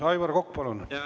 Aivar Kokk, palun!